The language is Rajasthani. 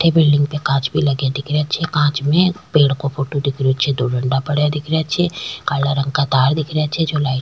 अठे बिलडिंग पे कांच भी लगे दिख रहे छे कांच में पेड़ को फोटो दिख रहे छे दो डंडा पड़ा दिख रहे छे काला रंग का तार दिख रहा छे जो लाइट --